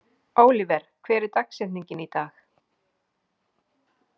Ólíver, hver er dagsetningin í dag?